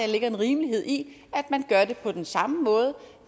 ligger en rimelighed i at man gør det på den samme måde